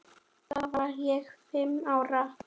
Þá var ég fimm ára.